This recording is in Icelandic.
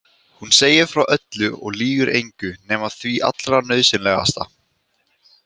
Hún segir frá öllu og lýgur engu nema því allra nauðsynlegasta.